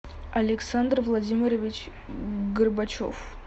александр владимирович горбачев